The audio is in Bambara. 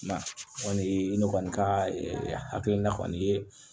O kɔni ye ne kɔni ka hakilina kɔni ye